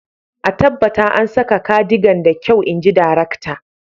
a tabbata an saka cardigan da kyau, in ji darakta